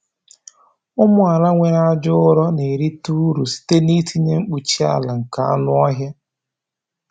Ụmụ ala nwere aja ụrọ na-erite uru site n’itinye mkpuchi ala nke anụ ọhịa.